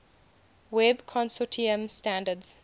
web consortium standards